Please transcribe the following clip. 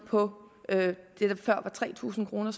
på tre tusind kroner